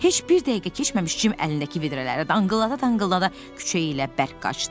Heç bir dəqiqə keçməmiş Cim əlindəki vedrələri danqıldada-danqıldada küçəyi ilə bərk qaçdı.